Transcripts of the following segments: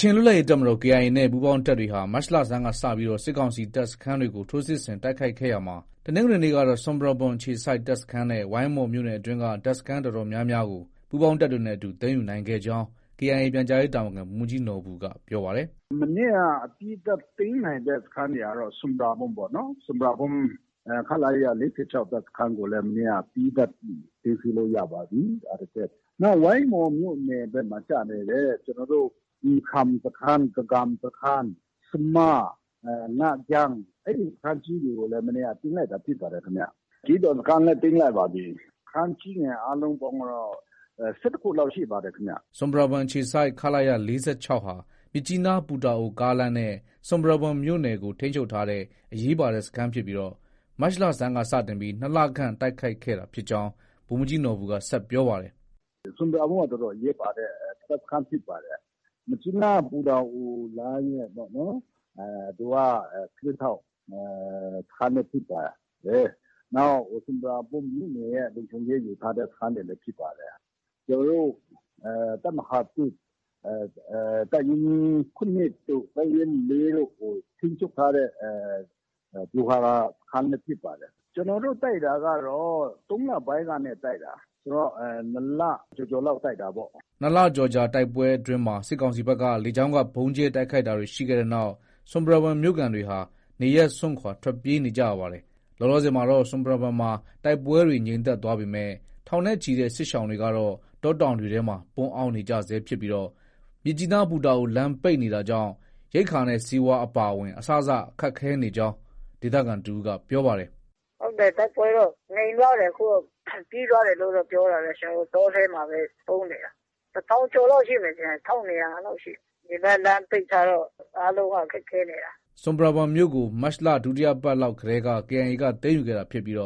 ချင်လွတ်လပ်ရေးတပ်မတော် KIA နဲ့ ပူးပေါင်းတပ်တွေဟာ မတ်လဆန်းကစတင်ပြီး စစ်ကောင်စီတပ် စခန်းတွေကို ထိုးစစ်ဆင် တိုက်ခိုက်ခဲ့ရာမှာ တနင်္ဂနွေနေ့ကတော့ ဆွမ်ပရာဘွမ်အခြေစိုက်တပ်စခန်းနဲ့ ဝိုင်းမော်မြို့နယ်အတွင်းက တပ်စခန်း အတော်များများကို ပူးပေါင်းတပ်တွေနဲ့အတူ သိမ်းယူနိုင်ခဲ့ကြောင်း KIA ပြန်ကြားရေးတာဝန်ခံ ဗိုလ်မှုးကြီးနော်ဘူက ပြောပါတယ်။ “ မနေ့က အပြီးသတ်သိမ်းနိုင်တဲ့ စခန်းတွေကတော့ ဆွမ်ပရာဘွမ်ပေါ့။ ဆွမ်ပရာဘွမ် ခလရ ၄၆ တပ်စခန်းကိုလည်း မနေ့က အပြီးသတ်သိမ်းဆည်းလို့ ရပါပြီ။ နောက် ဝိုင်းမော်မြို့နယ်ဘက်မှာ ကျနေတဲ့ ကျနော်တို့ အင်ခရန်စခန်း၊ ဂဂမ်စခန်း၊ဆမား၊ ငါးဂျန်း အဲဒီစခန်းကြီးတွေကိုလည်း မနေ့က သိမ်းလိုက်တာဖြစ်ပါတယ်။ ဂီဒွန်စခန်းလည်း သိမ်းလိုက်ပါပြီ။ စခန်းကြီးငယ်အားလုံးပေါင်းကတော့ ၁၁ခုလောက်ရှိပါတယ်ခင်ဗျ။ ” ဆွမ်ပရာဘွမ်မြို့အခြေစိုက် ခလရ ၄၆ဟာ မြစ်ကြီးနား- ပူတာအိုကားလမ်းနဲ့ ဆွမ်ပရာဘွမ်မြိုပနယ်ကို ထိန်းချုပ်ထားတဲ့အရေးပါတဲ့ စခန်းဖြစ်ပြီး မတ်လဆန်းက စတင်ပြီး ၂လခန့် တိုက်ခိုက်ခဲ့တာဖြစ်ကြောင်း ဗိုလ်မှုးကြီးနော်ဘူက ဆက်ပြောပါတယ်။ “ ဆွမ်ပရာဘွမ်က တော်တော်အရေးပါတဲ့ တပ်စခန်းဖြစ်ပါတယ်။ မြစ်ကြီးနား- ပူတာအိုလမ်းရဲ့ သူက ကင်းထောက် စခန်းလည်းဖြစ်တယ်။ နောက် ဆွမ်ပရာဘွမ်မြို့နယ်ရဲ့ လုံခြုံရေးယူထားတဲ့ စခန်းလည်းဖြစ်ပါတယ်။ ကျနော်တို့ တပ်မဟာ ၁ တပ်ရင်း ၇တို့ တပ်ရင်း ၄တိ့ုကို ထိန်းချုပ်ထားတဲ့ ဗျူဟာစခန်းလည်းဖြစ်ပါတယ်။ ကျနော်တို့ တိုက်တာကတော့ ၃လပိုင်းကနေ တိုက်တာ။ ဆိုတော့ ၂လ ကျော်ကျော်လောက် တိုက်တာပေါ့။” ၂ လကျော်ကြာတိုက်ပွဲအတွင်းမှာ စစ်ကောင်စီဘက်က လေကြောင်းက ဗုံးကြဲတိုက်ခိုက်တာတွေရှိခဲ့တဲ့နောက် ဆွပ်ပရာဘွမ်မြို့ခံတွေဟာ နေရပ်စွန့်ထွက်ပြေးနေကြရပါတယ်။ လောလောဆည်မှာတော့ဆွမ်ပရာဘွမ်မှာ တိုက်ပွဲတွေ ငြိမ်သက်သွားပေမဲ့ ထောင်နဲ့ ချီတဲ့ စစ်ရှောင်တွေ ကတော့ တောတောင်တွေထဲမှာ ပုန်းအောင်းနေရဆဲဖြစ်ပြီး မြစ်ကြီးနား- ပူတာအိုလမ်းပိတ်နေတာကြောင့် ရိက္ခာနဲ့ ဆေးဝါး အပါအဝင် အစစခက်ခဲနေကြောင်း ဒေသခံတဦးက ပြောပါတယ်။ “တိုက်ပွဲတော့ ငြိမ်သွားတယ်။အခု ပြီးသွားတယ်လို့တော့ ပြောတာပဲ။ ကျနော်တို့ တောထဲမှာပဲ ပုန်းနေတာ။ တထောင်ကျော်လောက်ရှိမယ်ထင်တယ်။ ၁၂၀၀ အဲလောက်ရှိတယ်။ ဒီဘက်လမ်း ပိတ်ထားတော့ အားလုံးက ခက်ခဲနေတာ။ ” ဆွမ်ပရာဘွမ်မြို့ကို မတ်လ ဒုတိယပတ်လောက်တည်းက KIA က သိမ်းယူခဲ့တာဖြစ်ပြီး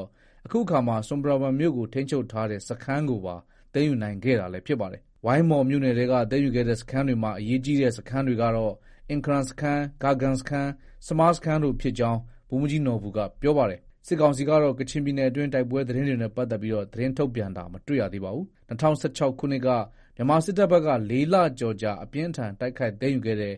အခုအခါမှာ ဆွမ်ပရာဘွမ်မြို့ကို ထိန်းချုပ်ထားတဲ့ စခန်းကိုပါ သိမ်းယူနိုင်ခဲ့တာလည်း ဖြစ်ပါတယ်။ ဝိုင်းမော်မြို့နယ်ထဲက သိမ်းယူခဲ့တဲ့စခန်းတွေမှာ အရေးကြီးတဲ့ စခန်းတွေကတော့ အင်ခရန်စခန်း၊ ဂဂမ်စခန်း၊ဆမားစခန်းတို့ဖြစ်ကြောင်း ဗိုလ်မှုးကြီးနော်ဘူက ပြောပါတယ်။ စစ်ကောင်စီကတော့ ကချင်ပြည်နယ်အတွင်း တိုက်ပွဲသတင်းတွေနဲ့ပတ်သက်ပြီး ထုတ်ပြန်တာ မတွေ့ရပါဘူး။ ၂၀၁၆ ခုနှစ်က မြန်မာစစ်တပ်ဘက်က ၄ လကျော်ကြာ အပြင်းအထန် တိုက်ခိုက်သိမ်းယူခဲ့တဲ့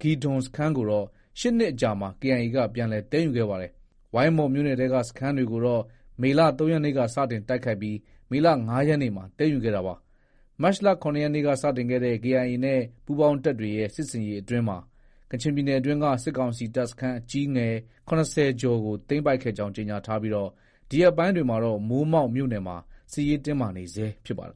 ဂီဒွန်စခန်းကိုတော့ ၈နှစ်ခန့်အကြာမှာ KIA က ပြန်လည် သိမ်းယူခဲ့ပါတယ်။ ဝိုင်းမော်မြို့နယ်ထဲက စခန်းတွေကိုတော့ မေလ ၃ရက်နေ့က စတင်တိုက်ခိုက်ပြီး မေလ ၅ရက်နေ့မှာ သိမ်းယူခဲ့တာပါ။ မတ်လ ၇ရက်နေ့က စတင်ခဲ့တဲ့ KIA နဲ့ ပူးပေါင်းတပ်တွေရဲ့ စစ်ဆင်ရေးအတွင်းမှာ ကချင်ပြည်နယ်အတွင်းက စစ်ကောင်စီတပ်စခန်းကြီးငယ် ၇၀ ကျော်ကို သိမ်းပိုက်ခဲ့ကြောင်း ကြေညာထားပြီး၊ ဒီရက်ပိုင်းတွေမှာတော့ မိုးမောက်မြို့နယ်မှာ စစ်ရေးတင်းမာနေဆဲဖြစ်ပါတယ်